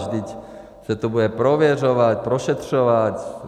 Vždyť se to bude prověřovat, prošetřovat.